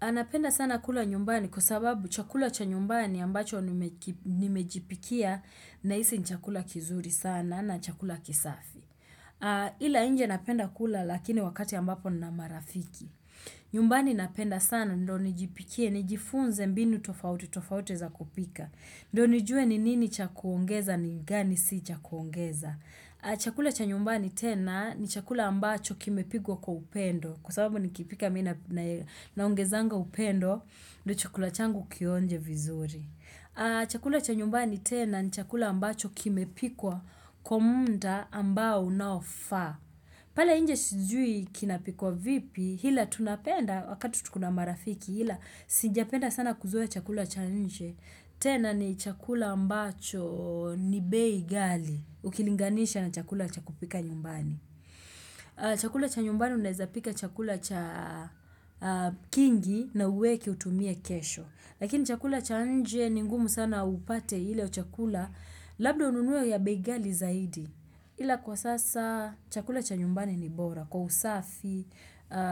Anapenda sana kula nyumbani kwa sababu chakula cha nyumbani ambacho nimejipikia nahisi ni chakula kizuri sana na chakula kisafi. Ila nje napenda kula lakini wakati ambapo nina marafiki. Nyumbani napenda sana ndo nijipikie nijifunze mbinu tofauti tofauti za kupika. Ndo nijue ni nini cha kuongeza ni gani si cha kuongeza. Chakula cha nyumbani tena ni chakula ambacho kimepikwa kwa upendo Kwa sababu nikipika mimi naongezanga upendo ndo chakula changu kionje vizuri Chakula cha nyumbani tena ni chakula ambacho kimepikwa Kwa muda ambao unaofaa Pala nje sijui kinapikwa vipi ila tunapenda wakati tuko na marafiki ila sijapenda sana kuzoea chakula cha nje tena ni chakula ambacho ni bei ghali Ukilinganisha na chakula cha kupika nyumbani Chakula cha nyumbani unaeza pika chakula cha kingi na uweke utumie kesho Lakini chakula cha nje ni ngumu sana upate ile chakula Labda ununue ya bei ghali zaidi Ila kwa sasa chakula cha nyumbani ni bora Kwa usafi,